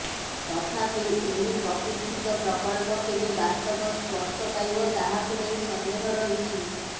ତଥାପି ଏହି ପ୍ରତୀକ୍ଷିତ ପ୍ରକଳ୍ପ କେବେ ବାସ୍ତବ ସ୍ପର୍ଶ ପାଇବ ତାହାକୁ ନେଇ ସନ୍ଦେହ ରହିଛି